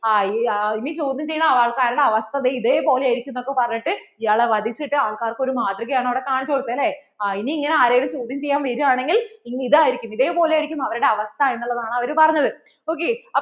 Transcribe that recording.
ആ ഇനി ചോദ്യം ചെയ്യണ ആൾക്കാരുടെ അവസ്ഥ ദേ ഇതേപോലെ ആയിരിക്കും എന്ന് ഒക്കെ പറഞ്ഞിട്ട് ഇയാളെ വധിച്ചിട്ട് ആൾക്കാർക്ക് ഒരു മാതൃക ആണ് അവിടെ കാണിച്ചു കൊടുത്തേ അല്ലേ ഇനി ഇങ്ങനെ ചോദ്യം ചെയ്യാൻ വര്വാണെങ്കിൽ ഇതായിരിയ്‌ക്കും ഇതേപോലെ ആയിരിക്കും അവരുടെ അവസ്ഥ എന്നുള്ളതാണ് അവർ പറഞ്ഞത്.